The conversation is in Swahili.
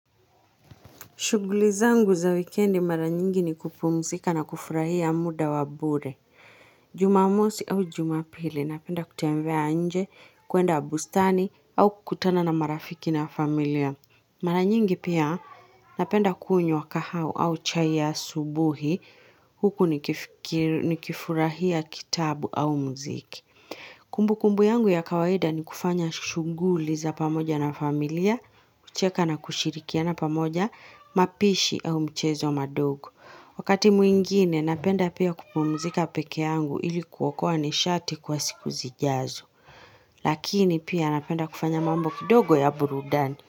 Shughuli zangu za wikendi mara nyingi ni kupumzika na kufurahia muda wa bure. Jumamosi au jumapili napenda kutembea nje, kwenda bustani au kukutana na marafiki na familia. Mara nyingi pia napenda kunywa kahawa au chai ya subuhi huku nikifurahia kitabu au muziki. Kumbukumbu yangu ya kawaida ni kufanya shughuli za pamoja na familia, kucheka na kushirikiana pamoja, mapishi au mchezo wa madogo. Wakati mwingine napenda pia kupumuzika peke yangu ilikuokoa nishati kwa siku zijazo. Lakini pia napenda kufanya mambo kidogo ya burudani.